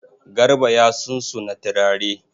Garba ya sunsuna turare.